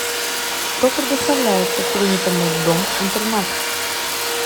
что предоставляется принятому в дом интернат